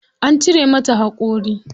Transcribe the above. An cire mata haƙori.